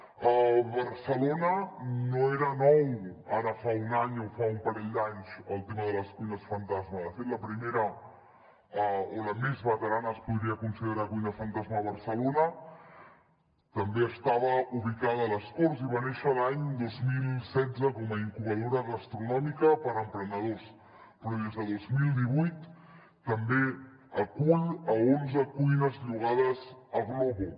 a barcelona no era nou ara fa un any o fa un parell d’anys el tema de les cuines fantasma de fet la primera o la més veterana que es podria considerar cuina fantasma a barcelona també estava ubicada a les corts i va néixer l’any dos mil setze com a incubadora gastronòmica per a emprenedors però des de dos mil divuit també acull onze cuines llogades a glovo